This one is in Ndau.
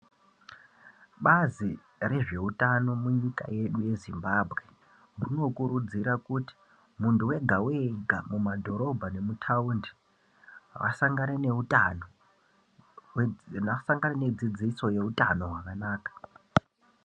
Bazi rezveutano munyika yedu yeZimbabwe rinokurudzira kuti muntu wega-wega mumadhorobha nemutaundi asangane neutano, asangane nedzidziso yeutano hwakanaka.